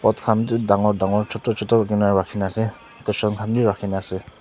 pot khan du dangor dangor chutu chutu hoi gina rakhi na ase cushion khan b rakhi na ase.